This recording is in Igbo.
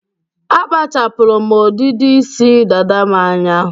Akpachapụrụ m ọdịdị isi dada m anya.